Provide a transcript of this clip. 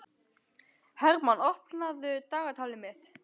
Hermann, opnaðu dagatalið mitt.